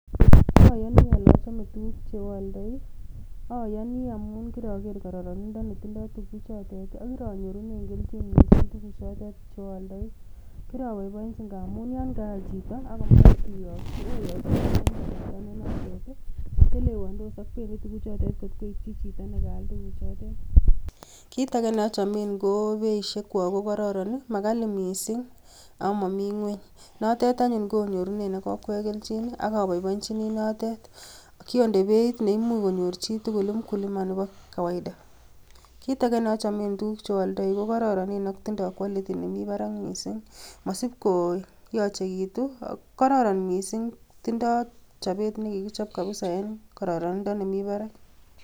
Ayooni ole achome tuguuk cheoldooi, ayooni amun kiroger kororonindoo netindoi tuguuchotet. Ak kironyoorunen kelchin missing tuguchotet, cheoldoi. Kiroboiboenyii amun akonyo chito akoal tuguuk kobokoi koityii chito tuguchoton kaal. Kitage neochomen ko beisiekchwak ko kororon, makali missing ak momi ngwony. Notet anyun onyorunen ak okwek kelchin, ak aboboinyini notet. Kiondei beit, neimuch konyoor chitugul mkulima, nebo kawaida. Kitage neochomen tuguuk cheoldoi ko kororon ak tindo quality nemi barak missing. Mosiib koyochekitun ak kororon missing, tindo chobet nekikichob kabisa en kororonindo nemi barak.